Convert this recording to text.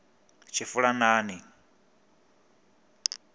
tshifulanani